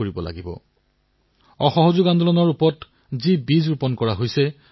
সেইদৰে চিংগাৰী এপো তৰুণ প্ৰজন্মৰ মাজত জনপ্ৰিয় হৈ উঠিছে